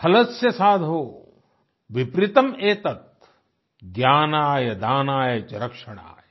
खलस्य साधो विपरीतम् एतत् ज्ञानाय दानाय च रक्षणाय